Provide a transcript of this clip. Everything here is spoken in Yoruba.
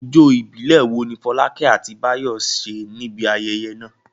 Ijó ìbílẹ̀ wo ni Fọlákẹ́ àti Báyọ̀ ṣe níbi ayẹyẹ náà?